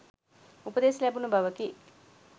උපදෙස් ලැබුණ බවකි.